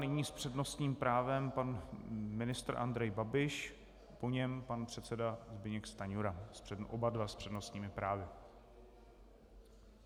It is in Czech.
Nyní s přednostním právem pan ministr Andrej Babiš, po něm pan předseda Zbyněk Stanjura, oba dva s přednostními právy.